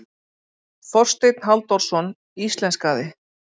Þorsteinn Halldórsson íslenskaði.